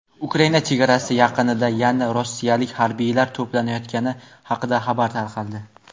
Ukraina chegarasi yaqinida yana rossiyalik harbiylar to‘planayotgani haqida xabar tarqaldi.